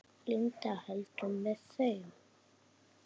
Linda: Heldurðu með þeim?